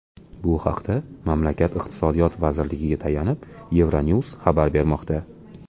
Bu haqda mamlakat iqtisodiyot vazirligiga tayanib, Euronews xabar bermoqda .